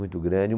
Muito grande.